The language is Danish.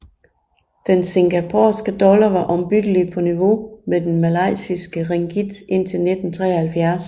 Den singaporeanske dollar var ombyttelige på niveau med den malaysiske ringgit indtil 1973